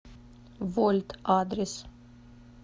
вольт адрес